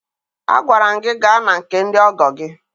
Agwara m gị gaa na nke ndị ọgọ gị!